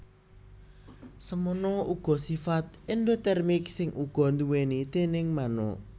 Semono uga sifat endotermik sing uga diduwéni déning manuk